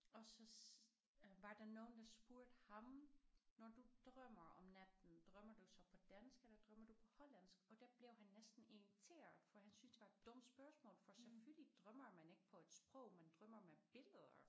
Og så var der nogen der spurgte ham når du drømmer om natten drømmer du så på dansk eller drømmer du på hollandsk og der blev han næsten irriteret for han synes det var et dumt spørgsmål for selvfølgelig drømmer man ikke på et sprog man drømmer med billeder